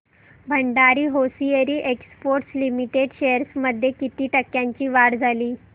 Bhandari hosiery exports limited shares मध्ये किती टक्क्यांची वाढ झाली